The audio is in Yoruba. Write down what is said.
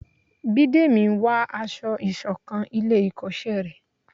Bídèmí n wá aṣọ isokan ilé ikoṣẹ rẹ